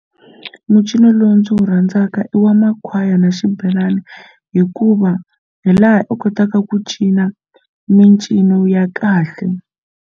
Mucino lowu ndzi wu rhandzaka i wa makhwaya na xibelani hikuva hi laha u kotaka ku cina mincino ya kahle.